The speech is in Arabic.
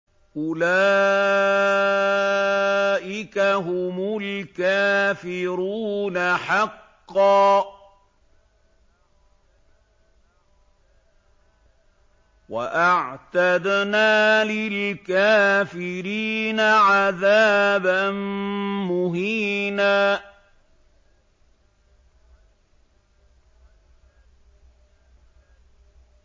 أُولَٰئِكَ هُمُ الْكَافِرُونَ حَقًّا ۚ وَأَعْتَدْنَا لِلْكَافِرِينَ عَذَابًا مُّهِينًا